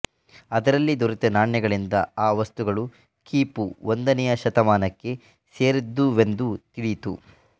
ಅದರಲ್ಲಿ ದೊರೆತ ನಾಣ್ಯಗಳಿಂದ ಆ ವಸ್ತುಗಳು ಕ್ರಿ ಪೂ ಒಂದನೆಯ ಶತಮಾನಕ್ಕೆ ಸೇರಿದ್ದುವೆಂದು ತಿಳಿಯಿತು